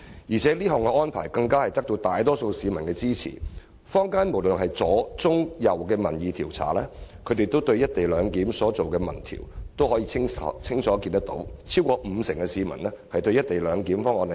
而且，這項安排得到大多數市民支持，坊間無論是左、中、右機構就"一地兩檢"進行的民意調查均清楚顯示，超過五成市民支持"一地兩檢"方案。